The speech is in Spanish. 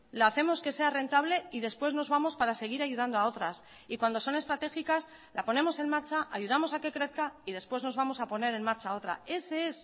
la hacemos que sea rentable y después nos vamos para seguir ayudando a otras y cuando son estratégicas la ponemos en marcha ayudamos a que crezca y después nos vamos a poner en marcha otra ese es